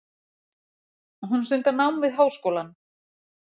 Hún stundar nám við háskólann.